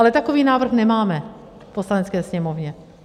Ale takový návrh nemáme v Poslanecké sněmovně.